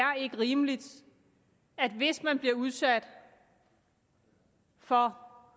rimeligt at hvis en person bliver udsat for